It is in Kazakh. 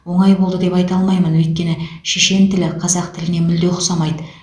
оңай болды деп айта алмаймын өйткені шешен тілі қазақ тіліне мүлде ұқсамайды